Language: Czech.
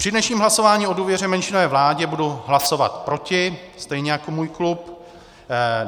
Při dnešním hlasování o důvěře menšinové vládě budu hlasovat proti, stejně jako můj klub.